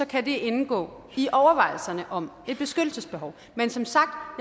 kan det indgå i overvejelserne om et beskyttelsesbehov men som sagt har